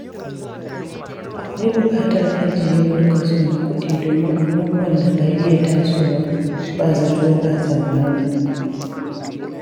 Akwai buƙatar ajiye wani kaso na kuɗi domin abubuwan da ka iya tasowa ba zato ba tsammani.